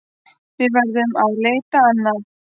Við verðum að leita annað.